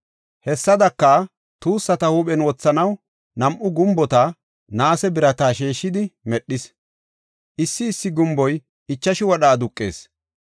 Hessadaka, tuussata huuphen wothanaw nam7u gumbota naase birata sheeshidi, medhis; issi issi gumboy ichashu wadha aduqees.